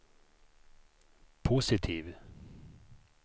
positiv